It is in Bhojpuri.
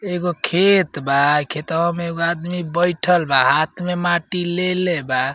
एगो खेत बा। खेतवा में एगो आदमी बइठल बा। हाथ में माटी लेले बा।